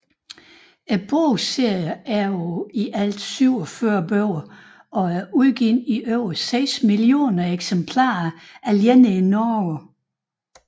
Bogserien er på i alt 47 bøger og er udgivet i over 6 millioner eksemplarer alene i Norge